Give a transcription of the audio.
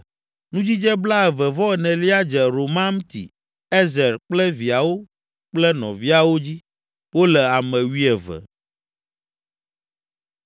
Nudzidze blaeve-vɔ-enelia dze Romamti Ezer kple viawo kple nɔviawo dzi; wole ame wuieve.